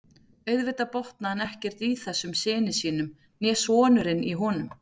Auðvitað botnaði hann ekkert í þessum syni sínum né sonurinn í honum.